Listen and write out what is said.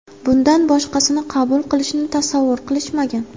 Bundan boshqasini qabul qilishni tasavvur qilishmagan.